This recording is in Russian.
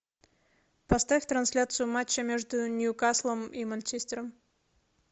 поставь трансляцию матча между ньюкаслом и манчестером